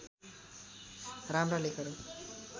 राम्रा लेखहरू